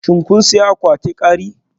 Shin kun sayi akwatin kari?